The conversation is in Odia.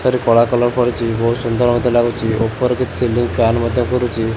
ତାରି କଳା କଲର କରିଚି ବହୁତ୍ ସୁନ୍ଦର ମଧ୍ୟ ଲାଗୁଚି ଓପର କିଛି ସିଲିଂ ଫ୍ୟାନ ମଧ୍ୟ ଘୁରୁଚି।